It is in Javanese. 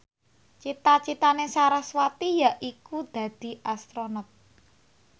cita citane sarasvati yaiku dadi Astronot